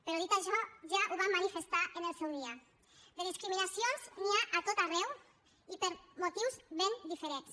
però dit això ja ho vam manifestar en el seu dia de discriminacions n’hi ha a tot arreu i per motius ben diferents